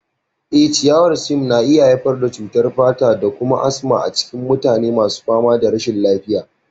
Eh, ciyawar Siam na iya haifar da cutar fata da kuma asma a cikin mutane masu fama da rashin lafiya.